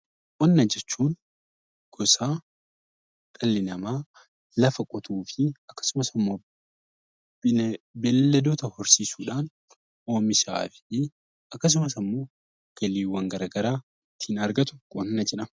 Qonna jechuun gosa dhalli namaa lafa qotuu fi akkasumas immoo beelladoota horsiisuu dhaan oomishaa fi akkasumas galiiwwan gara garaa ittiin argatu 'Qonna' jedhama.